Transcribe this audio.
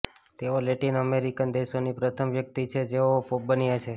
તેઓ Latin American દેશોની પ્રથમ વ્યક્તિ છે જેઓ પોપ બન્યા છે